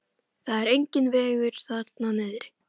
Það er enginn vegur þarna niðri.